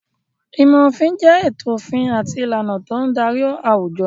Ìmọ̀ òfin jẹ ètò òfin àti ìlànà tó ń darí àwùjọ.